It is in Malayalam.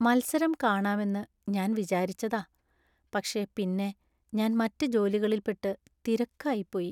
മത്സരം കാണാമെന്ന് ഞാൻ വിചാരിച്ചതാ, പക്ഷേ പിന്നെ ഞാൻ മറ്റ് ജോലികളിൽപ്പെട്ടു തിരക്കായിപ്പോയി.